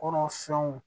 Kɔnɔfɛnw